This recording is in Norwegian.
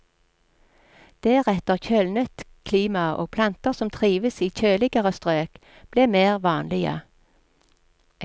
Deretter kjølnet klimaet og planter som trives i kjøligere strøk ble mer vanlige.